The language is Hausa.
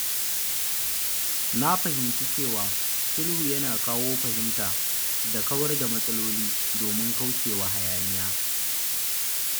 Na fahimci cewa sulhu yana kawo fahimta da kawar da matsaloli domin kauce wa hayaniya.